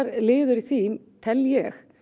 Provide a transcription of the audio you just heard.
liður í því tel ég